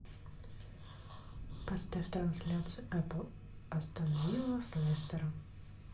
поставь трансляцию эпл астон вилла с лестером